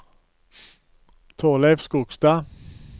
Torleiv Skogstad